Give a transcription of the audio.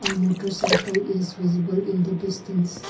a motarcycle is visible in the distance.